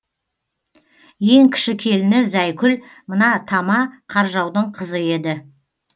ең кіші келіні зәйкүл мына тама қаржаудың кызы еді